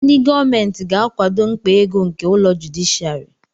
Ndị gọọmentị ga-akwado mkpa ego nke ụlọ jụdịshịàrị